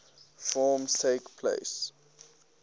forms takes place